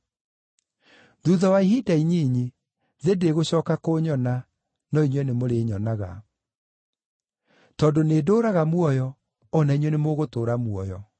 Thuutha wa ihinda inyinyi, thĩ ndĩgũcooka kũnyona, no inyuĩ nĩmũrĩnyonaga. Tondũ nĩndũũraga muoyo, o na inyuĩ nĩmũgũtũũra muoyo.